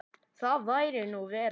Það væri nú verra.